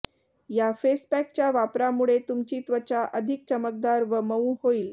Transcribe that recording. या फेस पॅकच्या वापरामुळे तुमची त्वचा अधिक चमकदार व मऊ होईल